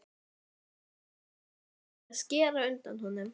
Og fullkomna verkið með því að skera undan honum.